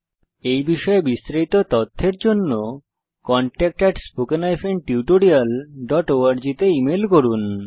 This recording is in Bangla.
এই বিষয়ে বিস্তারিত তথ্যের জন্য contactspoken tutorialorg তে ইমেল করুন